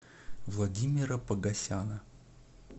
владимира погосяна